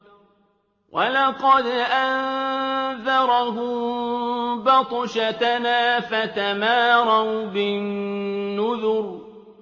وَلَقَدْ أَنذَرَهُم بَطْشَتَنَا فَتَمَارَوْا بِالنُّذُرِ